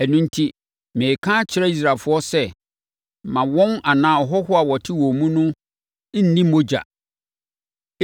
Ɛno enti, mereka akyerɛ Israelfoɔ sɛ, “Mma wɔn anaa ahɔhoɔ a wɔte wɔn mu no nni mogya.”